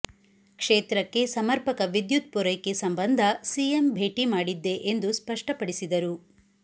ಕ್ಷೇತ್ರಕ್ಕೆ ಸಮರ್ಪಕ ವಿದ್ಯುತ್ ಪೂರೈಕೆ ಸಂಬಂಧ ಸಿಎಂ ಭೇಟಿ ಮಾಡಿದ್ದೆ ಎಂದು ಸ್ಪಷ್ಟಪಡಿಸಿದರು